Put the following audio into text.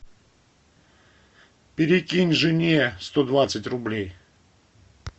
перекинь жене сто двадцать рублей